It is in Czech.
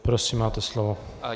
Prosím, máte slovo.